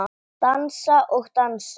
Dansa og dansa.